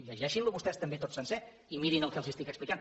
llegeixin lo vostès també tot sencer i mirin el que els estic explicant